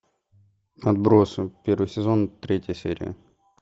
отбросы первый сезон третья серия